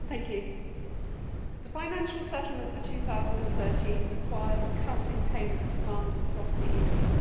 Mr President, the financial settlement for 2013 requires a cut in payments to farmers across the EU.